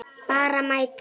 Bara mæta.